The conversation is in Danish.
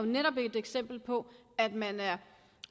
netop et eksempel på at man er